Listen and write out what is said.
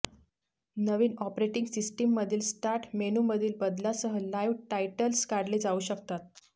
नवीन operating सिस्टममधील start मेनूमधील बदलासह लाईव्ह टायटल्स काढले जाऊ शकतात